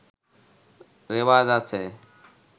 রেওয়াজ আছে